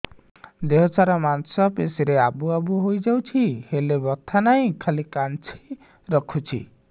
ଦେହ ସାରା ମାଂସ ପେଷି ରେ ଆବୁ ଆବୁ ହୋଇଯାଇଛି ହେଲେ ବଥା ନାହିଁ ଖାଲି କାଞ୍ଚି ରଖୁଛି